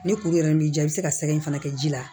Ni kuru yɛrɛ b'i diya i bɛ se ka sɛgɛ in fana kɛ ji la